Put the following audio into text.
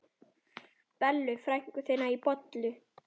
Bellu frænku þína bollu?